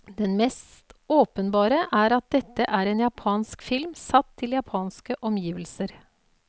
Den mest åpenbare er at dette er en japansk film satt til japanske omgivelser.